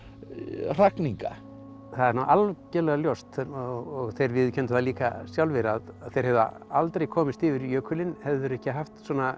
hrakninga það er nú algjörlega ljóst og þeir viðurkenndu það líka sjálfir að þeir hefðu aldrei komist yfir jökulinn hefðu þeir ekki haft